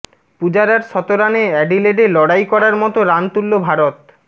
পূজারার শতরানে অ্যাডিলেডে লড়াই করার মতো রান তুলল ভারত